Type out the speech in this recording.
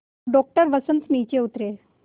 doctor Vasant नीचे उतरे